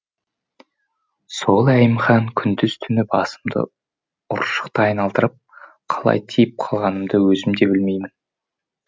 сол әйімхан күндіз түні басымды ұршықтай айналдырып қалай тиіп қалғанымды өзім де білмеймін